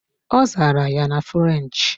Ọ zara ya na French.